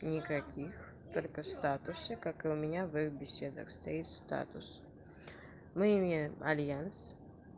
никаких только ву статусе как и у меня в их беседах стоит статус мы имеем альянс